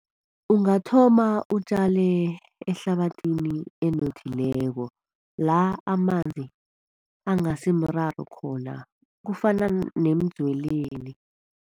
Ungathoma utjale ehlabathini enothileko la amanzi angasimraro khona, kufana nemdzweleni.